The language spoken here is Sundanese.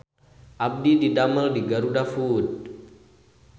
Abdi didamel di GarudaFood